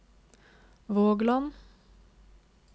Vågland